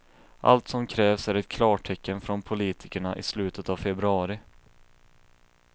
Allt som krävs är ett klartecken från politikerna i slutet av februari.